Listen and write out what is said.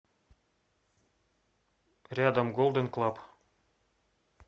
рядом голден клаб